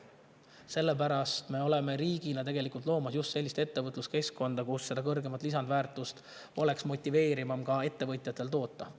Sellepärast loob riik just sellist ettevõtluskeskkonda, kus ettevõtjatel oleks rohkem motivatsiooni kõrgemat lisandväärtust toota.